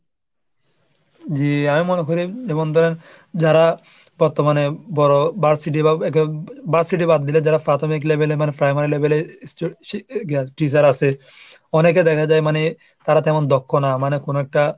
জি, আমি মনে করি যেমন ধরেন যারা বর্তমানে বড়ো ভার্সিটি বা বাদ দিলে যারা প্রাথমিক level এ মানে primary level এ teacher আসে অনেকে দেখা যায় মানে তারা তেমন দক্ষ না মানে কোনো একটা,